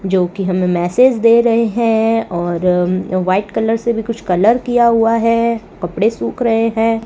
जो की हमे मैसेज दे रहे है और व्हाइट कलर से भी कुछ कलर किया हुआ है कपड़े सूख रहे है।